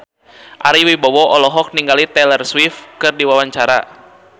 Ari Wibowo olohok ningali Taylor Swift keur diwawancara